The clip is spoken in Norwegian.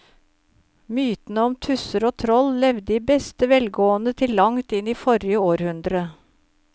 Mytene om tusser og troll levde i beste velgående til langt inn i forrige århundre.